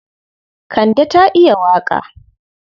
Kande ta iya waƙa.